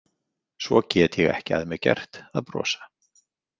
Svo get ég ekki að mér gert að brosa.